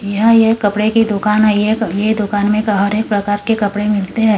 यह एक कपड़े की दुकान है येक ये दुकान में हर एक प्रकार के कपड़े मिलते है।